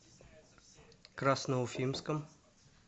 красноуфимском